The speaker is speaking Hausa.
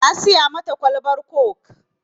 Na siya mata kwalbar kok